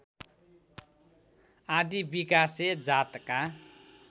आदि विकासे जातका